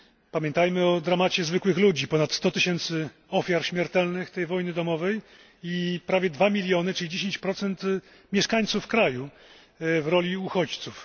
Pamiętajmy o dramacie zwykłych ludzi ponad 100 tysięcy ofiar śmiertelnych tej wojny domowej i prawie 2 miliony, czyli 10 mieszkańców kraju, w roli uchodźców.